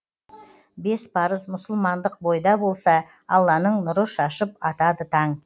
бес парыз мұсылмандық бойда болса алланың нұры шашып атады таң